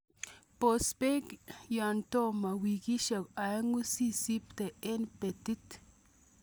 Bos beek yon tomo wikisiek oeng'u sisipte en betit.